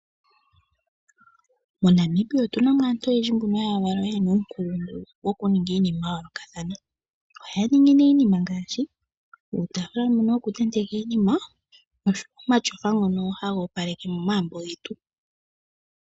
MoNamibia otu na mo aantu oyendji mbono ya valwa ye na uunkulungu wokuninga iinima ya yoolokathana. Ohaya ningi nee iinima ngaashi uutaafula mbono wokutenteka iinima noshowo omatyofa ngono haga opaleke momagumbo getu.